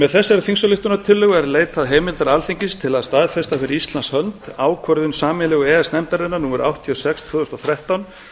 með þessari þingsályktunartillögu er leitað heimildar alþingis til að staðfesta fyrir íslands hönd ákvörðun sameiginlegu e e s nefndarinnar númer áttatíu og sex tvö þúsund og þrettán